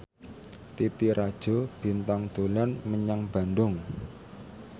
Titi Rajo Bintang dolan menyang Bandung